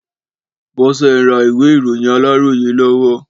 Bọ́sẹ̀ ń ra ìwé ìròyìn Aláròyé lọ́wọ́.